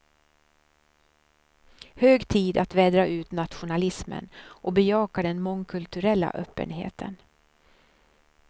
Hög tid att vädra ut nationalismen och bejaka den mångkulturella öppenheten.